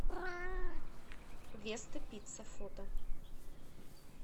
веста пицца фото